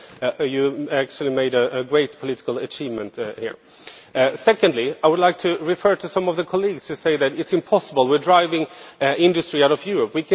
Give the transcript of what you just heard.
So you actually made a great political achievement here. Secondly, I would like to refer to some of the colleagues to say that it is impossible, that we are driving industry out of Europe.